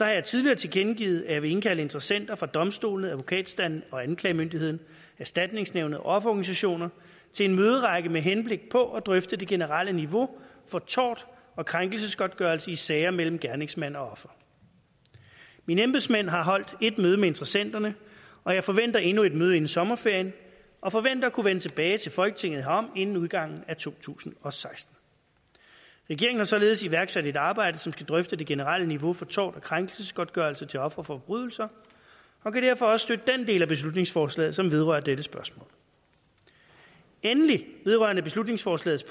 jeg tidligere tilkendegivet at jeg vil indkalde interessenter fra domstolene advokatstanden og anklagemyndigheden erstatningsnævnet og offerorganisationer til en møderække med henblik på at drøfte det generelle niveau for tort og krænkelsesgodtgørelse i sager mellem gerningsmand og offer mine embedsmænd har holdt et møde med interessenterne og jeg forventer endnu et møde inden sommerferien og forventer at kunne vende tilbage til folketinget herom inden udgangen af to tusind og seksten regeringen har således iværksat et arbejde som skal drøfte det generelle niveau for tort og krænkelsesgodtgørelse til ofre for forbrydelser og kan derfor også støtte den del af beslutningsforslaget som vedrører dette spørgsmål endelig vedrørende beslutningsforslagets